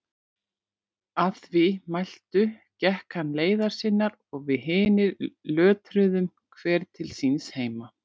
Að því mæltu gekk hann leiðar sinnar og við hinir lötruðum hver til síns heima.